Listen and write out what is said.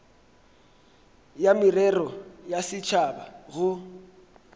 ya merero ya setšhaba go